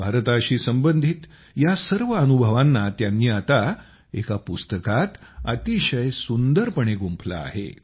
भारताशी संबंधित या सर्व अनुभवांना त्यांनी आता एका पुस्तकात अतिशय सुंदरपणे गुंफले आहे